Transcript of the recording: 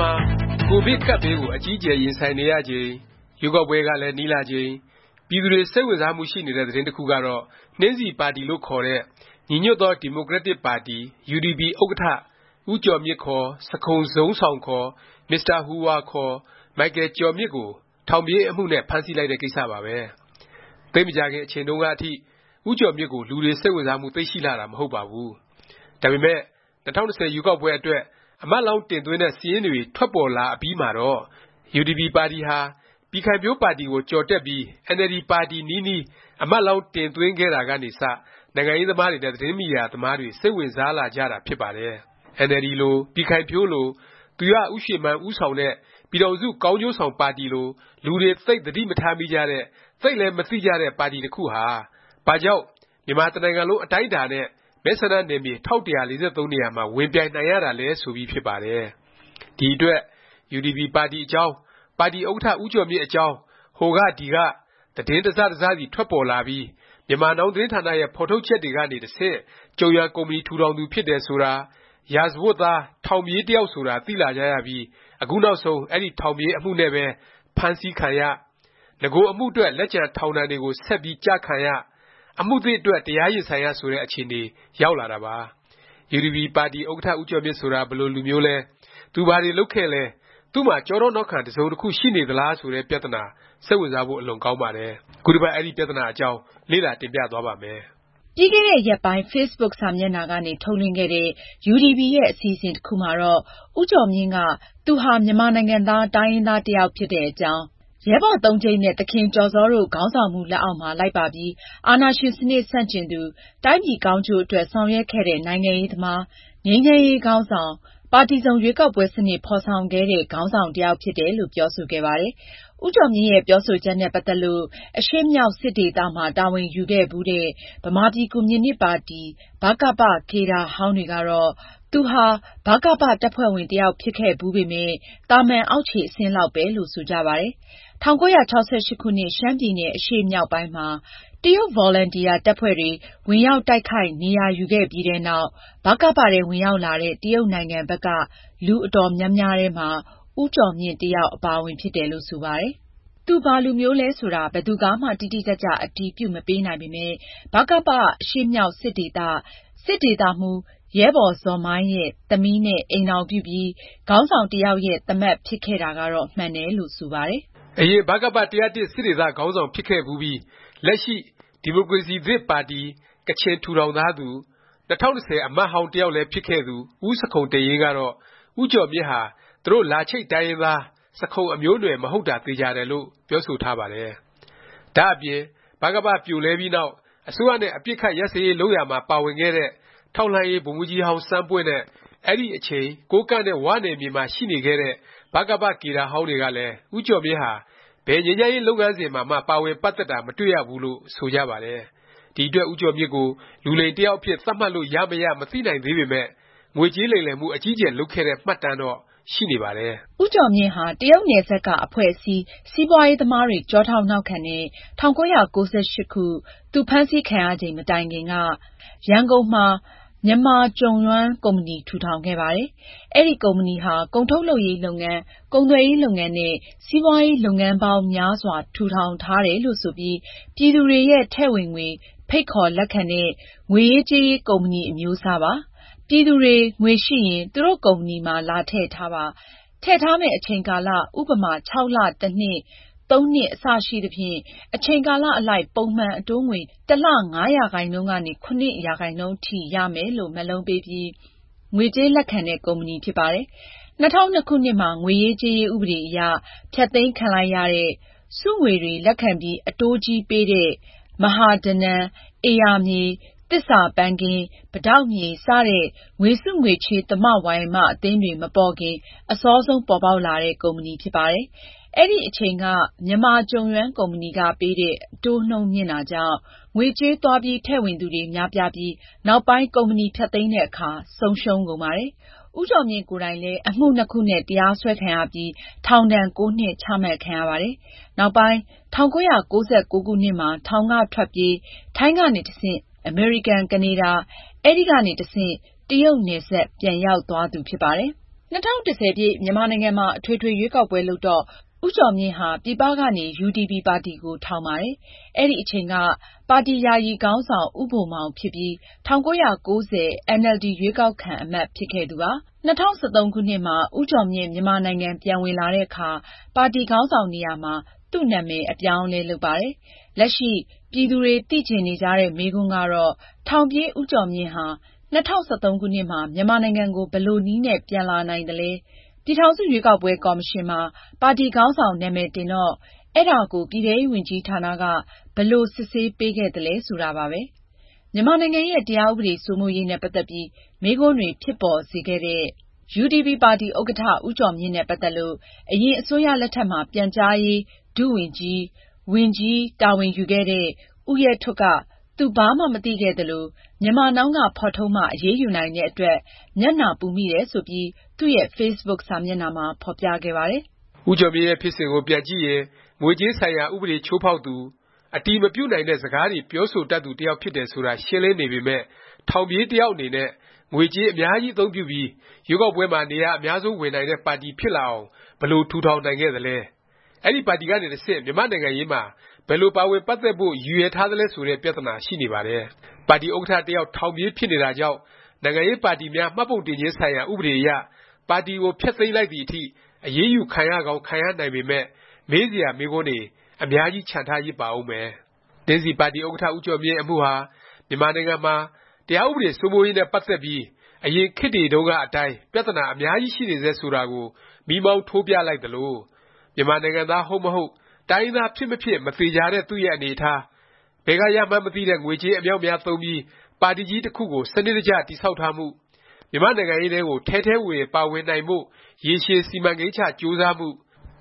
မှာ ကိုဗစ် ကပ်ဘေးကို အကြီးအကျယ် ရင်ဆိုင်နေရချိန်၊ ရွေးကောက်ပွဲကလည်း နီးလာချိန် ပြည်သူတွေ စိတ်ဝင်စားမှု ရှိနေတဲ့ သတင်းတစ်ခုကတော့ နှင်းဆီပါတီလို့ ခေါ်တဲ့ ညီညွတ်သော ဒီမိုကရက်တစ် ပါတီ UDP ဥက္ကဌ ဦးကျော်မြင့် ခေါ် ဆခုန်ဇုန်းဆောင် ခေါ် မစ္စတာ ဟူဟွာ ခေါ် မိုက်ကယ်ကျော်မြင့် ကို ထောင်ပြေး အမှုနဲ့ ဖမ်းဆီးလိုက်တဲ့ ကိစ္စပါပဲ။ သိပ်မကြာခင် အချိန်တုန်းကအထိ ဦးကျော်မြင့်ကို လူတွေ စိတ်ဝင်စားမှု သိပ်ရှိလှတာ မဟုတ်ပါဘူး။ ဒါပေမယ့် ၂၀၂၀ ရွေးကောက်ပွဲ အတွက် အမတ်လောင်း တင်သွင်းတဲ့ စာရင်းတွေ ထွက်ပေါ်လာအပြီးမှာတော့ UDP ပါတီဟာ ပြည်ခိုင်ဖြိုးပါတီကို ကျော်တက်ပြီး အင်န်အယ်လ်ဒီ ပါတီ နီးနီး အမတ်လောင်း တင်သွင်းခဲ့တာကနေ စ နိုင်ငံရေးသမားတွေ နဲ့ သတင်းမီဒီယာ သမားတွေ စိတ်ဝင်စားလာကြတာ ဖြစ်ပါတယ်။ အင်န်အယ်လ်ဒီလို၊ ပြည်ခိုင်ဖြိုးလို၊ သူရဦးရွှေမန်း ဦးဆောင်တဲ့ ပြည်ထောင်စု ကောင်းကျိုးဆောင် ပါတီလို လူတွေ သိပ် သတိမထားမိကြတဲ့၊ သိပ်လည်း မသိကြတဲ့ ပါတီ တစ်ခုဟာ ဘာကြောင့် မြန်မာတစ်နိုင်ငံလုံး အတိုင်းအတာနဲ့ မဲဆန္ဒနယ်မြေ ၁၁၄၃ နေရာမှာ ဝင်ပြိုင်နိုင်ရတာလဲ ဆိုပြီး ဖြစ်ပါတယ်။ ဒီအတွက် UDP ပါတီအကြောင်း၊ ပါတီ ဥက္ကဌ ဦးကျော်မြင့် အကြောင်း ဟိုက ဒီက သတင်း တစ်စ တစ်စစီထွက်ပေါ်လာပြီး Myanmar Now သတင်းဌာနရဲ့ ဖော်ထုတ်ချက်တွေကနေ တဆင့် ကျုံယွမ် ကုမ္ပဏီ ထူထောင်သူ ဖြစ်တယ် ဆိုတာ၊ ရာဇဝတ်သား ထောင်ပြေး တစ်ယောက်ဆိုတာ သိလာကြရပြီး အခုနောက်ဆုံး အဲဒီ ထောင်ပြေးအမှုနဲ့ပဲ ဖမ်းဆီးခံရ၊ နဂို အမှုအတွက် လက်ကျန် ထောင်ဒဏ်တွေကို ဆက်ပြီး ကျခံရ၊ အမှုသစ်အတွက် တရားရင်ဆိုင်ရ ဆိုတဲ့ အခြေအနေ ရောက်လာတာပါ။ UDP ပါတီ ဥက္ကဌ ဦးကျော်မြင့် ဆိုတာ ဘယ်လို လူမျိုးလဲ၊ သူဘာတွေ လုပ်ခဲ့သလဲ၊ သူ့မှာ ကျောထောက်နောက်ခံ တစ်စုံတစ်ခု ရှိနေသလား ဆိုတဲ့ပြသနာ စိတ်ဝင်စားဖို့ အလွန်ကောင်းပါတယ်။ ခုတစ်ပတ် အဲဒီ ပြသနာ အကြောင်း လေ့လာ တင်ပြသွားပါ့မယ်။ ပြီးခဲ့တဲ့ ရက်ပိုင်း facebook စာမျက်နှာကနေ ထုတ်လွှင့်ခဲ့တဲ့ UDP ရဲ့ အစီအစဉ် တစ်ခုမှာတော့ ဦးကျော်မြင့်က သူဟာ မြန်မာနိုင်ငံသား တိုင်းရင်းသား တစ်ယောက် ဖြစ်တဲ့အကြောင်း၊ ရဲဘော်သုံးကျိပ်နဲ့ သခင်ကျော်ဇောတို့ ခေါင်းဆောင်မှု လက်အောက်မှာ လိုက်ပါပြီး အာဏာရှင် စနစ် ဆန့်ကျင်သူ၊ တိုင်းပြည်ကောင်းကျိုးအတွက် ဆောင်ရွက်ခဲ့တဲ့ နိုင်ငံရေးသမား၊ ငြိမ်းချမ်းရေး ခေါင်းဆောင်၊ ပါတီစုံ ရွေးကောက်ပွဲစနစ် ဖော်ဆောင်ခဲ့တဲ့ ခေါင်းဆောင် တစ်ယောက်ဖြစ်တယ်လို့ ပြောဆိုခဲ့ပါတယ်။ ဦးကျော်မြင့်ရဲ့ ပြောဆိုချက်နဲ့ ပတ်သက်ပြီး အရှေ့မြောက် စစ်ဒေသ မှာ တာဝန်ယူခဲ့ဖူးတဲ့ ဗမာပြည်ကွန်မြူနစ်ပါတီ ဗကပ ကေဒါဟောင်းတွေကတော့ သူဟာ ဗကပ တပ်ဖွဲ့ဝင် တစ်ယောက် ဖြစ်ခဲ့ဖူးပေမယ့် သာမန် အောက်ခြေ အဆင့်လောက်ပဲ လို့ ဆိုကြပါတယ်။ ၁၉၆၈ ခုနှစ် ရှမ်းပြည်နယ် အရှေ့မြောက်ပိုင်းမှာ ဗကပ အလံထောင်ပြီး တရုတ်ဗော်လံတီယာ တပ်ဖွဲ့တွေဝင်ရောက် တိုက်ခိုက် နေရာယူခဲ့ပြီးတဲ့နောက် ဗကပ ထဲ ဝင်ရောက်လာတဲ့ တရုတ်နိုင်ငံဘက်က လူအတော်များများထဲမှာ ဦးကျော်မြင့်လည်း တစ်ယောက် အပါအဝင် ဖြစ်တယ်လို့ ဆိုပါတယ်။ သူဘာလူမျိုးလဲ ဆိုတာ ဘယ်သူကမှ တိတိကျကျ အတည်ပြုမပေးနိုင်ပေမယ့် ဗကပ အရှေ့မြောက် စစ်ဒေသ၊ စစ်ဒေသမှူး ရဲဘော်ဇော်မိုင်ရဲ့ သမီးနဲ့ ညားပြီး ခေါင်းဆောင်တစ်ယောက်ရဲ့ သားမက် ဖြစ်ခဲ့တာတော့ မှန်တယ်လို့ ဆိုပါတယ်။ အရင် ဗကပ ၁၀၁ စစ်ဒေသ ခေါင်းဆောင်ဖြစ်ခဲ့ဖူးပြီး လက်ရှိ ဒီမိုကရေစီသစ် ပါတီ (ကချင်) ထူထောင်ထားသူ၊ ၂၀၁၀ အမတ်ဟောင်း တစ်ယောက်လည်း ဖြစ်ခဲ့သူ ဦးဆခုံတိန့်ယိန်းကတော့ ဦးကျော်မြင့်ဟာ သူတို့ လာချိတ် တိုင်းရင်းသား ဆခုံအမျိုးအနွယ် မဟုတ်တာ သေခြာတယ်လို့ ပြောဆိုထားပါတယ်။ ဒါ့အပြင် ဗကပ ပြိုလဲပြီးနောက် အစိုးရနဲ့ အပစ်အခတ် ရပ်စဲရေး လုပ်ရာမှာ ပါဝင်ခဲ့တဲ့ ထောက်လှမ်းရေး ဗိုလ်မှူးကြီးဟောင်း စန်းပွင့်နဲ့ အဲဒီ အချိန် ကိုးကန့်နဲ့ ၀ နယ်မြေမှာ ရှိနေခဲ့တဲ့ ဗကပ ကေဒါဟောင်းတွေကလည်း ဦးကျော်မြင့်ဟာ ဘယ်ငြိမ်းချမ်းရေး လုပ်ငန်းစဉ်မှာမှ ပါဝင်တာ မတွေ့ရဘူးလို့ ဆိုကြပါတယ်။ ဒီအတွက် ဦးကျော်မြင့်ကို လူလိမ်တစ်ယောက်အဖြစ် သတ်မှတ်လို့ ရမရ မသိနိုင်သေးပေမယ့် ငွေကြေးလိမ်လည်မှု အကြီးအကျယ် လုပ်ခဲ့တဲ့ မှတ်တမ်းတော့ ရှိနေပါတယ်။ ဦးကျော်မြင့်ဟာ တရုတ်နယ်စပ်က အဖွဲ့အစည်း၊ စီးပွားရေးသမားတွေ ကျောထောက်နောက်ခံနဲ့ ၁၉၉၈ သူ ဖမ်းဆီးခံရချိန် မတိုင်ခင်က ရန်ကုန်မှာ မြန်မာကျုံယွမ် ကုမ္ပဏီ ထူထောင်ခဲ့ပါတယ်။ အဲဒီ ကုမ္ပဏီဟာ ကုန်ထုတ်လုပ်ရေး လုပ်ငန်း၊ ကုန်သွယ်ရေး လုပ်ငန်းနဲ့ စီးပွားရေး လုပ်ငန်းပေါင်း များစွာ ထူထောင်ထားတယ်လို့ ဆိုပြီး ပြည်သူတွေရဲ့ ထည့်ဝင်ငွေ ဖိတ်ခေါ် လက်ခံတဲ့ ငွေရေးကြေးရေး ကုမ္ပဏီ အမျိုးအစားပါ။ ပြည်သူတွေ ငွေရှိရင် သူတို့ကုမ္ပဏီမှာ လာထည့်ထားပါ၊ ထည့်ထားမယ့် အချိန်ကာလ ဥပမာ ၆ လ၊ တစ်နှစ်၊ ၃ နှစ် အစရှိသဖြင့် အချိန်ကာလ အလိုက် ပုံမှန် အတိုးငွေ တစ်လ ၅% ကနေ ၇% အထိ ရမယ်လို့ မက်လုံးပေးပြီး ငွေကြေးလက်ခံတဲ့ ကုမ္ပဏီဖြစ်ပါတယ်။ ၂၀၀၂ ခုနှစ်မှာ ငွေရေးကြေးရေး ဥပဒေအရ ဖျက်သိမ်းခံလိုက်ရတဲ့၊ စုငွေတွေ လက်ခံပြီး အတိုးကြီးပေးတဲ့ မဟာဓနံ၊ ဧရာမြေ၊ သစ္စာပန်းခင်း၊ ပိတောက်မြေ စတဲ့ ငွေစုငွေချေး သမဝါယမ အသင်းတွေ မပေါ်ခင် အစောဆုံး ပေါ်ပေါက်လာတဲ့ ကုမ္ပဏီဖြစ်ပါတယ်။ အဲဒီ အချိန်က မြန်မာကျုံယွမ်ကုမ္ပဏီက ပေးတဲ့ အတိုးနှုန်း မြင့်တာကြောင့် ငွေကြေး သွားပြီး ထည့်ဝင်သူတွေ များပြားပြီး နောက်ပိုင်း ကုမ္ပဏီဖျက်သိမ်းတဲ့အခါ ဆုံးရှုံးကုန်ပါတယ်။ ဦးကျော်မြင့်ကိုယ်တိုင်လည်း အမှုနှစ်ခုနဲ့ တရားစွဲခံရပြီး ထောင်ဒဏ်(၉) နှစ်ချမှတ်ခံရပါတယ်။ နောက်ပိုင်း ၁၉၉၉ ခုနှစ်မှာ ထောင်က ထွက်ပြေး၊ ထိုင်းကနေ တဆင့် အမေရိကန်၊ ကနေဒါ၊ အဲဒီကနေ တဆင့် တရုတ်နယ်စပ် ပြန်ရောက်သွားသူ ဖြစ်ပါတယ်။ ၂၀၁၀ မြန်မာနိုင်ငံမှာ အထွေထွေ ရွေးကောက်ပွဲ လုပ်တော့ ဦးကျော်မြင့်ဟာ ပြည်ပကနေ UDP ပါတီကို ထောင်ပါတယ်။ အဲဒီအချိန်က ပါတီ ယာယီခေါင်းဆောင် ဦးဘိုမောင် ဖြစ်ပြီး ၁၉၉၀ အင်န်အယ်လ်ဒီ ရွေးကောက်ခံ အမတ် ဖြစ်ခဲ့သူပါ။ ၂၀၁၃ ဦးကျော်မြင့် မြန်မာနိုင်ငံ ပြန်ဝင်လာတဲ့အခါ ပါတီခေါင်းဆောင်နေရာမှာ သူ့နာမည်ကို အပြောင်းအလဲ လုပ်ပါတယ်။ လက်ရှိ ပြည်သူတွေ သိချင်နေကြတဲ့ မေးခွန်းကတော့ ထောင်ပြေး ဦးကျော်မြင့်ဟာ ၂၀၁၃ ခုနှစ်မှာ မြန်မာနိုင်ငံကို ဘယ်လိုနည်းနဲ့ ပြန်လာနိုင်သလဲ၊ ပြည်ထောင်စု ရွေးကောက်ပွဲ ကော်မရှင်မှာ ပါတီခေါင်းဆောင် နာမည် တင်တော့ အဲဒါကို ပြည်ထဲရေးဝန်ကြီးဌာနက ဘယ်လိုစစ်ဆေးပေးခဲ့သလဲ ဆိုတာပါပဲ။ မြန်မာနိုင်ငံရဲ့ တရားဥပဒေ စိုးမိုးရေးနဲ့ ပတ်သက်ပြီး မေးခွန်းတွေ ဖြစ်ပေါ်စေခဲ့တဲ့ UDP ပါတီဥက္ကဌ ဦးကျော်မြင့် နဲ့ ပတ်သက်လို့ အရင်အစိုးရလက်ထက်မှာ ပြန်ကြားရေး ဒုဝန်ကြီး၊ ဝန်ကြီး တာဝန်ယူခဲ့တဲ့ ဦးရဲထွဋ်က သူဘာမှ မသိခဲ့သလို၊ Myanmar Now က ဖော်ထုတ်မှ အရေးယူနိုင်တဲ့ အတွက် မျက်နှာပူမိတယ် ဆိုပြီး သူ့ရဲ့ facebook စာမျက်နှာမှာ ဖော်ပြခဲ့ပါတယ်။ ဦးကျော်မြင့်ရဲ့ ဖြစ်စဉ်ကို ပြန်ကြည့်ရင် ငွေကြေးဆိုင်ရာ ဥပဒေချိုးဖေါက်သူ ဖြစ်တယ် ဆိုတာ ရှင်းလင်းနေပေမယ့် ထောင်ပြေး တစ်ယောက် အနေနဲ့ ငွေကြေး အများကြီး အသုံးပြုပြီး ရွေးကောက်ပွဲမှာ နေရာ အများဆုံး ဝင်နိုင်တဲ့ ပါတီဖြစ်လာအောင် ဘယ်လို ထူထောင်နိုင်ခဲ့သလဲ၊ အဲဒီ ပါတီကနေ တဆင့် မြန်မာ့နိုင်ငံရေးမှာ ဘယ်လို ပါဝင်ပတ်သက်ဖို့ ရည်ရွယ်ထားသလဲ ဆိုတဲ့ ပြသနာရှိနေပါတယ်။ ပါတီ ဥက္ကဌ တစ်ယောက် ထောင်ပြေး ဖြစ်နေတာကြောင့် နိုင်ငံရေးပါတီများ မှတ်ပုံတင်ခြင်း ဆိုင်ရာ ဥပဒေအရ ပါတီကို ဖျက်သိမ်းလိုက်သည် အထိ အရေးယူ ခံရကောင်း ခံရနိုင်ပေမယ့် မေးစရာ မေးခွန်းတွေ အများကြီး ချန်ထားရစ်ပါဦးမယ်။ နှင်းဆီပါတီ ဥက္ကဌ ဦးကျော်မြင့် အမှုဟာ မြန်မာနိုင်ငံမှာ တရားဥပဒေ စိုးမိုးရေး နဲ့ ပတ်သက်ပြီး အရင်ခေတ်တွေတုန်းက အတိုင်း ပြသနာ အများကြီးရှိနေဆဲ ဆိုတာကို မီးမောင်းထိုးပြလိုက်သလို၊ မြန်မာနိုင်ငံသား ဟုတ်မဟုတ်၊ တိုင်းရင်းသား ဖြစ်မဖြစ် မသေခြာတဲ့ သူ့ရဲ့အနေအထား၊ ဘယ်က ရမှန်းမသိတဲ့ ငွေကြေး အမြောက်အများ သုံးပြီး ပါတီကြီး တစ်ခုကို စနစ်တကျ တည်ဆောက်ထားမှု၊ မြန်မာ့နိုင်ငံရေးထဲကို ထဲထဲဝင်ဝင် ပါဝင်နိုင်ဖို့ ရေရှည် စီမံကိန်းချ ကြိုးစားမှု၊